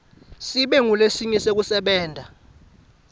sibe ngulesinye sekusebenta